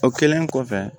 O kɛlen kɔfɛ